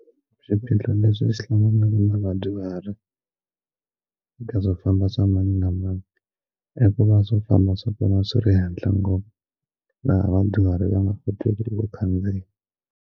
Swiphiqo leswi swi hlanganaka na vadyuhari ka swo famba swa mani na mani hikuva swo famba swa vona swi ri henhla ngopfu laha vadyuhari va nga kotiki ku khandziya.